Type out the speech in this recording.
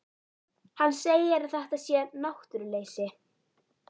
Hann segir að þetta sé náttúruleysi.